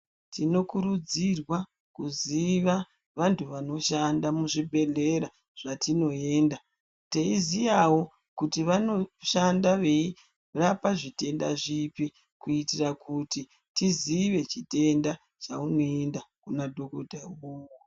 Tinokurudzirwa kuziva vantu vanoshanda muzvibhehlera zvatinoenda teiziyawo kuti vanoshanda veirapa zvitenda zvipi kuitira kuti tizive chitenda chaunoenda kuna dhokota iwowo.